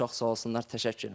Çox sağ olsunlar, təşəkkür edirəm.